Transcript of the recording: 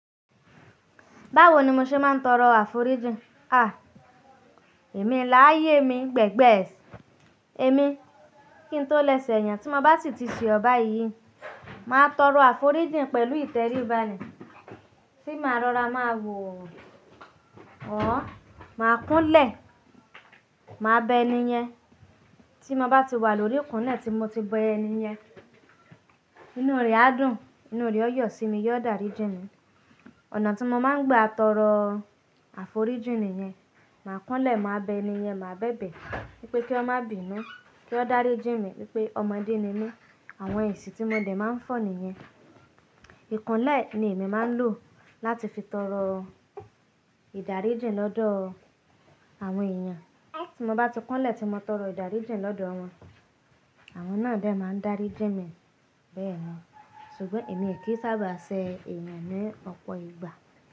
Báwo ni mọ ṣe máa ń tọrọ àforíjìn? À, èmi láyé mi gbẹ̀gbẹ́ sì. Èmi kí ń tó lẹ́ sẹ̀ èèyàn tí mo bá sì ti ṣe ọba yìí, màá tọrọ àforíjìn pẹ̀lú ìtẹríba ni. Tí màá rọra, màá wò ó. Ọ̀ọ́, màá kún lẹ̀, màá bẹ ẹni yẹn. Tí mo bá ti wà lórí ìkùńlẹ̀ tí mò ti bẹ ẹniyẹn, inúu rẹ̀ á dùn, inúu rẹ̀ ó yọ̀ sí mi, yọ dàríjí mi. Ọ̀nà tí mo máa ń gba tọrọ àforíjìn nìyẹn. Màá kúnlẹ̀, màá bẹ ẹni yẹn, màá bẹ̀bẹ̀ wípé kí wòn má bi nú, kí wọn ó dàríjí mi wípé ọmọdé ni mí, àwọn ẹ̀sì tí mo dẹ̀ máa ń fọ̀ nìyẹn. Ikúnlẹ̀ ni èmi máa ń lò láti fi tọrọ ìdáríjìń lọ́dọ̀ àwọn èèyàn. Tí mo bá ti kúnlẹ̀ tí mo tọrọ ìdáríjì lọ́dọ̀ wọn, àwọn náà dè máa ń dàríjíń mi bẹ́ẹ̀ nì. Ṣùgbọ́n èmi è kì í sábà ṣe èèyàn ní ọ̀pọ̀ ìgbà.